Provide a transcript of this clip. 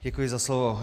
Děkuji za slovo.